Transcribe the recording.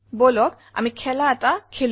বলক আমি খেলা এটা খেলো